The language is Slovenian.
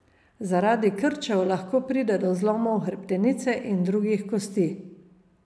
Zaradi krčev lahko pride do zlomov hrbtenice in drugih kosti.